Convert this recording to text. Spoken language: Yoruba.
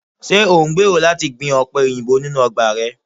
Ṣe o ngbero lati gbin ope oyinbo ninu ọgba rẹ?